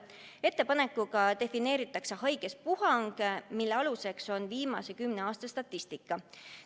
Ettepanekuga defineeritakse haiguspuhang, mille aluseks on viimase kümne aasta statistika.